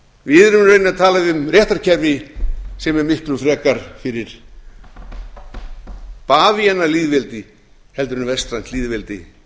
við erum í raun að tala um réttarkerfi sem er miklu frekar fyrir bavíanalýðveldi en vestrænt lýðveldi